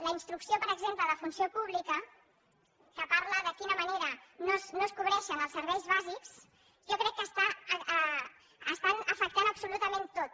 la instrucció per exemple de funció pública que parla de quina manera no es cobreixen els serveis bàsics jo crec que ho està afectant absolutament tot